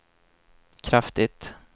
kraftigt